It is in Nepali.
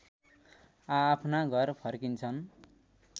आआफ्ना घर फर्किन्छन्